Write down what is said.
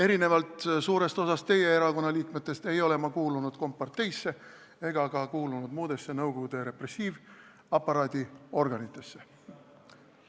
Erinevalt suurest osast teie erakonna liikmetest ei ole ma kuulunud komparteisse ega ka muudesse Nõukogude repressiivaparaadi organitesse.